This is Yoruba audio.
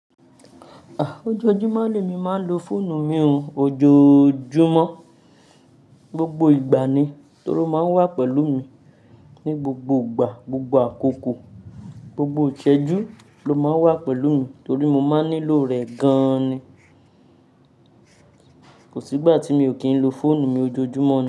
Ojoojúmọ́ lemi ma n lò fóònù mi ojoojúmọ́, gbogbo ìgbà ni, torí o ma n wa pẹ̀lú mi ní gbogbo ìgbà, gbogbo àkókò, gbogbo ìṣẹ́jú ló máa ń wà pẹ̀lú mi, torí mo máa ń nílò rẹ̀ gan ni. Kò sí ìgbà tí mi ò kín ń lò fóònù mi ojoojúmọ́ ni.